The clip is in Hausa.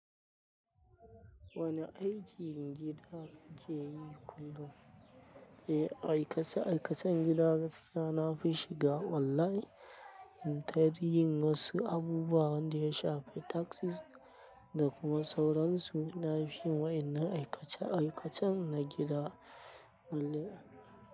Wane aikin gida kake yi kullum? Eh, aikace-aikacen gida gaskiya na fi shiga online. In ta dai yin wasu abubu wanda ya shafi taxes da kuma sauransu, na fi wa'in nan aikace-aikacen na gida.